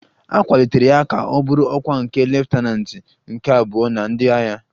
A kwalitere ya ka ọ bụrụ ọkwa nke leftananti nke abụọ na ndị agha